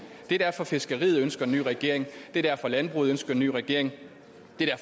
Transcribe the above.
det er derfor fiskeriet ønsker en ny regering det er derfor landbruget ønsker en ny regering